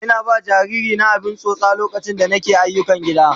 Ina ba jariri na abin tsotsa lokaci da nake ayyukan gida.